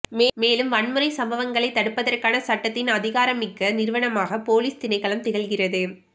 மேலும் வன்முறை சம்பங்களை தடுப்பதற்கான சட்டத்தின் அதிகாரமிக்க நிறுவனமாக பொலிஸ் திணைக்களம் திகழ்கின்றது